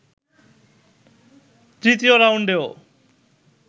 তৃতীয় রাউন্ডেও